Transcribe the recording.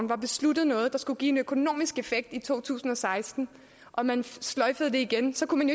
var besluttet noget der skulle give en økonomisk effekt i to tusind og seksten og man sløjfede det igen så kunne man